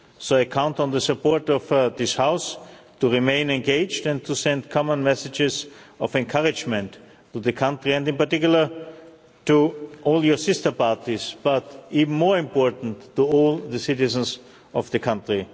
So I count on the support of this House to remain engaged and to send common messages of encouragement to the country and in particular to all your sister parties, but even more importantly, to all the citizens of the country.